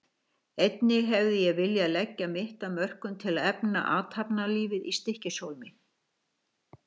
Einnig hef ég viljað leggja mitt af mörkum til að efla athafnalífið í Stykkishólmi.